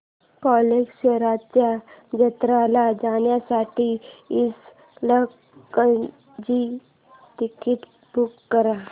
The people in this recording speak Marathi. कल्लेश्वराच्या जत्रेला जाण्यासाठी इचलकरंजी ची तिकिटे बुक कर